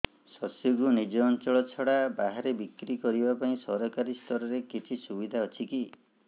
ଶସ୍ୟକୁ ନିଜ ଅଞ୍ଚଳ ଛଡା ବାହାରେ ବିକ୍ରି କରିବା ପାଇଁ ସରକାରୀ ସ୍ତରରେ କିଛି ସୁବିଧା ଅଛି କି